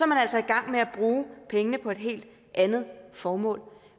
man altså i gang med at bruge pengene på et helt andet formål